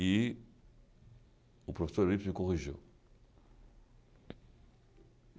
E o professor Eurípides me corrigiu.